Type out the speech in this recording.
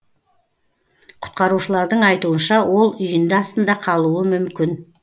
құтқарушылардың айтуынша ол үйінді астында қалуы мүмкін